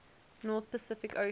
north pacific ocean